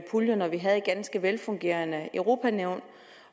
puljer når vi havde et ganske velfungerende europa nævn